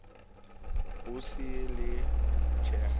ho se ho le tjena